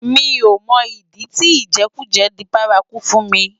Mi ó mò idi ti ijèkújè di bàrákú fún mi